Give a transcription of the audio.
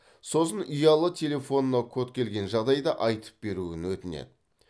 сосын ұялы телефонына код келген жағдайда айтып беруін өтінеді